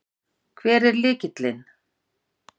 Hver er lykillinn?